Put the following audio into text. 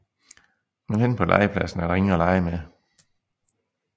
Men henne på legepladsen er der ingen at lege med